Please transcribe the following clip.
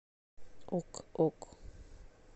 ок ок